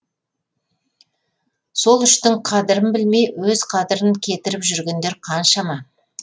сол үштің қадірін білмей өз қадырын кетіріп жүргендер қаншама